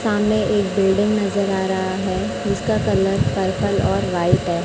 सामने एक बिल्डिंग नजर आ रहा है जीसका कलर पर्पल और व्हाइट है।